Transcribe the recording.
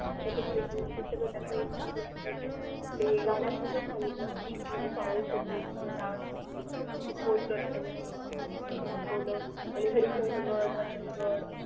त्याच्यात सांगितलं dance group ते posters वगैरे लावून दाखवलं आणि हरिश्चंद्रगड रतनगड